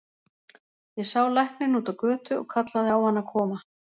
Ég sá lækninn úti á götu og kallaði á hann að koma.